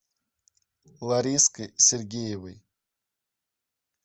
лариской сергеевой